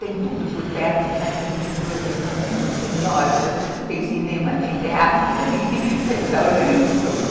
Tem tudo por perto, n´d, tem metrô, tem ônibus, tem lojas, tem cinema, tem teatro, tem restaurante, tudo.